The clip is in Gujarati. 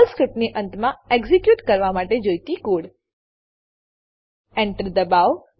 પર્લ સ્ક્રીપ્ટની અંતમાં એક્ઝીક્યુટ કરવા માટે જોઈતો કોડ Enter દબાવો